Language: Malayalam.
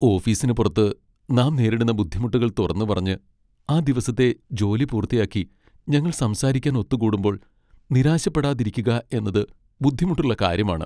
ഓഫീസിനുപുറത്ത് നാം നേരിടുന്ന ബുദ്ധിമുട്ടുകൾ തുറന്നുപറഞ്ഞ്, ആ ദിവസത്തെ ജോലി പൂർത്തിയാക്കി ഞങ്ങൾ സംസാരിക്കാൻ ഒത്തുകൂടുമ്പോൾ നിരാശപ്പെടാതിരിക്കുക എന്നത് ബുദ്ധിമുട്ടുള്ള കാര്യമാണ്.